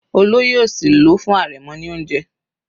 Olóyè òsì ló fún arẹmọ ní oúnjẹ.